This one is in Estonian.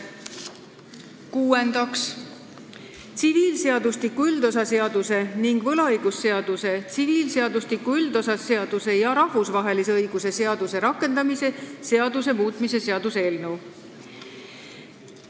Kuuendaks, tsiviilseadustiku üldosa seaduse ning võlaõigusseaduse, tsiviilseadustiku üldosa seaduse ja rahvusvahelise eraõiguse seaduse rakendamise seaduse muutmise seaduse eelnõu.